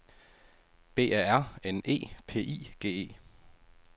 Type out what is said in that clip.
B A R N E P I G E